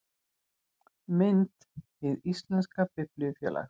Mynd: Hið íslenska Biblíufélag